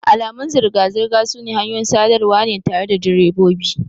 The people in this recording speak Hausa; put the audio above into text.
Alamun zirga-zirga sune hanyoyin sadarwa ne tare da direbobi.